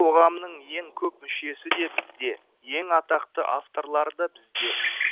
қоғамның ең көп мүшесі де бізде ең атақты авторлар да бізде